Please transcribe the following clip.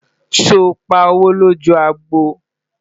sọ pá owó loju àgbò?